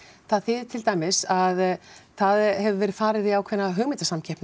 það þýðir til dæmis að það hefur verið farið í ákveðna hugmyndasamkeppni